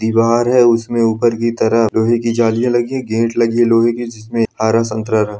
दीवार है उसमें ऊपर की तरफ लोहे के जालियाँ लगी हैं गेट लगी है लोहे के जिसमें आरा संकरा रा --